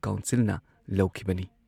ꯀꯥꯎꯟꯁꯤꯜꯅ ꯂꯧꯈꯤꯕꯅꯤ ꯫"